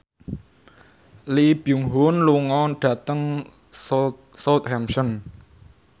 Lee Byung Hun lunga dhateng Southampton